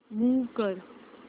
move कर